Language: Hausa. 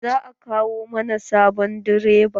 Za a kawo mana sabon direba.